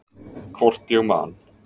Hvort ég man.